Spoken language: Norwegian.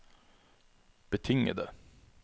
betingede